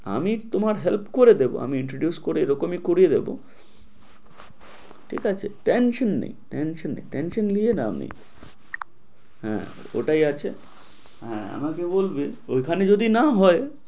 আমি তোমার help করে দেব আমি introduce করে এরকমই করিয়ে দেব ঠিক আছে? tesion নেই tension নেই tension নিয়ে নাম নেই হ্যাঁ ওটাই আছে হ্যাঁ আমাকে বলবে ওইখানে যদি না হয়